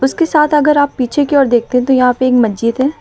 उसके साथ अगर आप पीछे की ओर देखते तो यहां पे एक मस्जिद है।